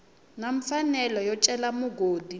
na mfanelo yo cela mugodi